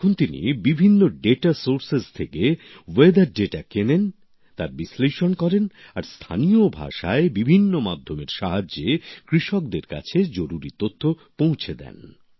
এখন তিনি বিভিন্ন তথ্য সুত্র থেকে আবহাওয়ার তথ্য কেনেন তার বিশ্লেষণ করেন আর স্থানীয় ভাষায় বিভিন্ন মাধ্যমের সাহায্যে কৃষকদের কাছে জরুরী তথ্য পৌঁছে দেন